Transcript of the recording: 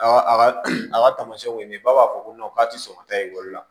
A ka tamasiɲɛw ye nin ye ba b'a fɔ ko k'a tɛ sɔn ka taa ekɔli la